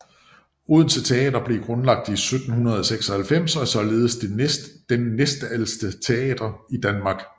Odense Teater blev grundlagt i 1796 og er således den næstældste teater i Danmark